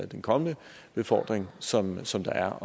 den kommende befordring som som der er